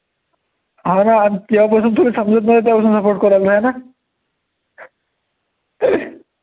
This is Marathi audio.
अरे हा जेव्हा पासून तुले समजतं नाही तेव्हा पासून support करू राहिला, आहे ना